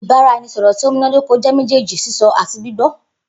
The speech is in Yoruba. Ibaraẹnisọrọ ti o munadoko jẹ mejeeji sisọ ati gbigbọ.